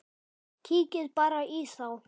Kíkið bara í þá!